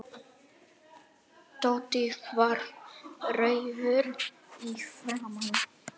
Tóti varð rjóður í framan.